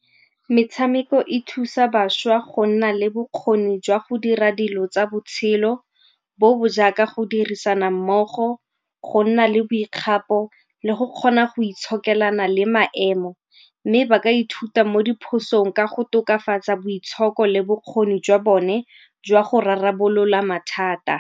Metshameko e thusa bašwa go nna le bokgoni jwa go dira dilo tsa botshelo bo bo jaaka go dirisana mmogo, go nna le boikgapo le go kgona go itshokelana le maemo, mme ba ka ithuta mo diphosong ka go tokafatsa boitshoko le bokgoni jwa bone jwa go rarabolola mathata.